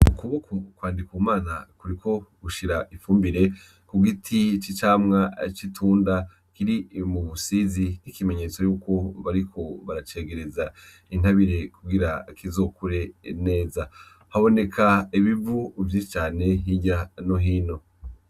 Ukuboko kwa ndikumana kuriko gushira ifumbire kugiti c'icamwa c'itunda kiri mubusizi nikimenyetso yuko bariko baracegereza kugira kizokure neza haboneka ibivu vyinshi cane hirya no hino.